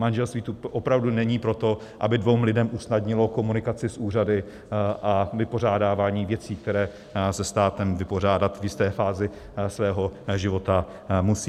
Manželství tu opravdu není proto, aby dvěma lidem usnadnilo komunikaci s úřady a vypořádávání věcí, které se státem vypořádat v jisté fázi svého života musí.